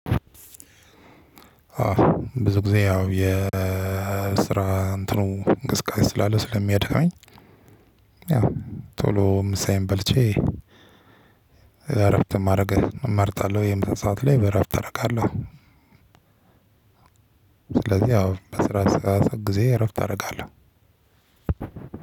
ብዙ ጊዜ ያው የስራ እንትኑ እንቅስቃሴ ስላለ ስለሚያደክመኝ። ያው ቶሎ ምሳዬን በልቼ እረፍት ማድረግ እመርጣለሁ የምሳሰአት ላይ እረፍት እረካለሁ። ስለዚህ ያው በስራ ሰዓት ጊዜ እረፍት አረጋለሁ።